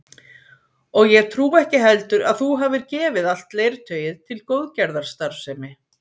Og ég trúi ekki heldur að þú hafir gefið allt leirtauið til góðgerðarstarfsemi